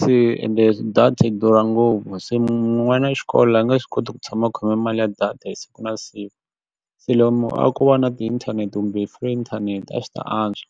se ende data yi durha ngopfu se n'wana wa xikolo a nge swi koti ku tshama a khome mali ya data hi siku na save se lomu a ko va na tiinthanete kumbe three inthanete a swi ta antswa.